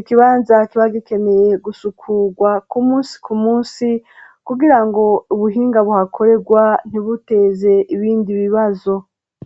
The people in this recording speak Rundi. Ikibanza kiba gikeneye gusukurwa ku munsi ku munsi, kugira ngo ubuhinga buhakorerwa ntibuteze ibindi bibazo.